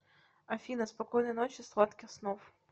афина спокойной ночи сладких снов